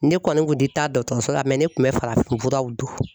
Ne kɔni kun tɛ taa dɔtɔrɔso la ne kun bɛ farafin furaw don.